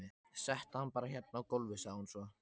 Settu hann bara hérna á gólfið, sagði hún svo.